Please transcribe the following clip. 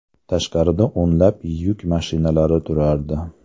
Tashqarida o‘nlab yuk mashinalari turardi.